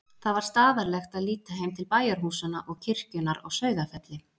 Það var staðarlegt að líta heim til bæjarhúsanna og kirkjunnar á Sauðafelli.